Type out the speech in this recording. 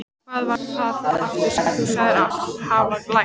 Hvað var það aftur sem þú sagðist hafa lært?